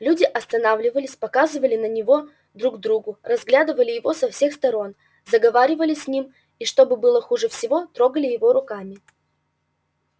люди останавливались показывали на него друг другу разглядывали его со всех сторон заговаривали с ним и что было хуже всего трогали его руками